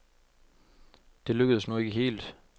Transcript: Det lykkedes nu ikke helt.